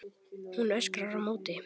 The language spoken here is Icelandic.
Hún öskrar á móti.